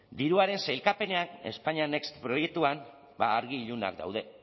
diruaren sailkapenean españa next proiektuan argi ilunak daude